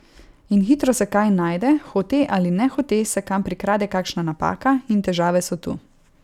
In hitro se kaj najde, hote ali nehote se kam prikrade kakšna napaka, in težave so tu.